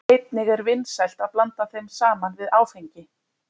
Einnig er vinsælt að blanda þeim saman við áfengi.